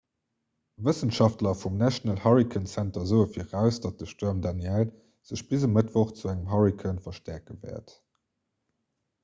wëssenschaftler vum national hurricane center soe viraus datt de stuerm danielle sech bis e mëttwoch zu engem hurrikan verstäerke wäert